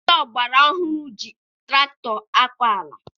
Ndị ọgbara ọhụrụ ji tụrakụtọ akọ ala.